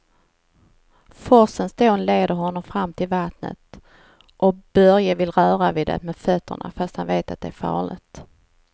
Forsens dån leder honom fram till vattnet och Börje vill röra vid det med fötterna, fast han vet att det är farligt.